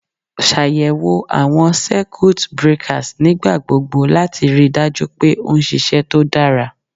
Ṣàyẹ̀wò àwọn Circuit breakers nígbà gbogbo láti ríi dájú pé ó ń ṣiṣẹ́ tó dára.